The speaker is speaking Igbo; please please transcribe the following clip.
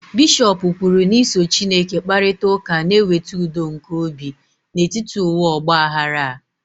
bishọp kwuru na iso Chineke kparịta ụka na-eweta udo nke obi n'etiti ụwa ọgba aghara a